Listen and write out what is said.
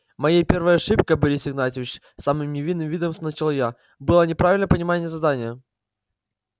моей первой ошибкой борис игнатьевич с самым невинным видом начал я было неправильное понимание задания